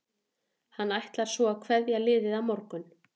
Hann ætlar svo að kveðja liðið á morgun.